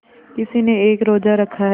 किसी ने एक रोज़ा रखा है